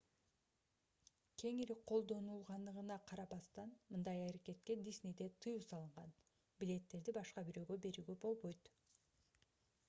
кеңири колдонулганына карабастан мындай аракетке disney'де тыюу салынган: билеттерди башка бирөөгө берүүгө болбойт